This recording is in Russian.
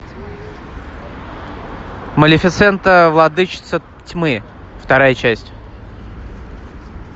малефисента владычица тьмы вторая часть